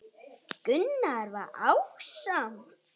Gunnar var ásamt